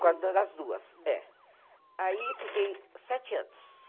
Quando era as duas, é. Aí fiquei sete anos.